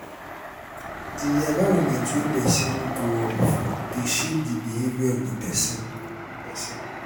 di environment wey person grow up from de shape di behavior of di persin persin